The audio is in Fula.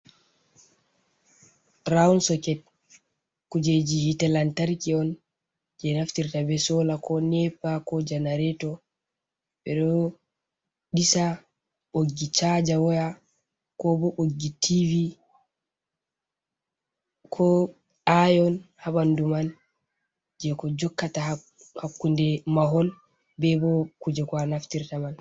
Rowun Soket, kujeji hite lantarki'on je Naftirta be Sola ko Nepa ko Janareto.ɓe ɗo ɗisa ɓoggi Chaja waya ko bo ɓoggi Tv,ko ayon ha ɓandu man je ko Takkata hakkunde Mahol be bo Kuje ko a aftirta man.